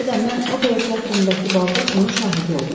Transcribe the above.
mən opera teatrındakı balda bunun şahidi oldum.